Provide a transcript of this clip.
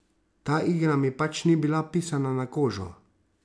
Ta igra mi pač ni bila pisana na kožo.